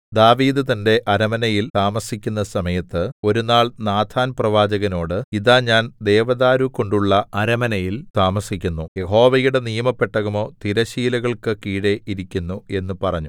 ദാവീദ് തന്റെ അരമനയിൽ താമസിക്കുന്ന സമയത്ത് ഒരു നാൾ നാഥാൻപ്രവാചകനോട് ഇതാ ഞാൻ ദേവദാരുകൊണ്ടുള്ള അരമനയിൽ താമസിക്കുന്നു യഹോവയുടെ നിയമപെട്ടകമോ തിരശ്ശീലകൾക്കു കീഴെ ഇരിക്കുന്നു എന്നു പറഞ്ഞു